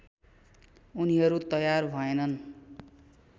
उनीहरू तयार भएनन्